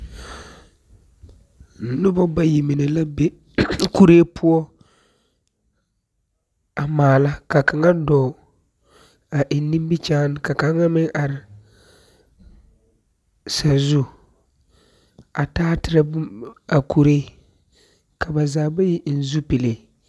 Noba bayi mine la be kuree poɔ, a maala, ka kaŋa dɔɔ, a eŋ nimikyaane ka kaŋa meŋ are sazu a taaterɛ bom a kuree, ka ba zaa bayi eŋ zupile.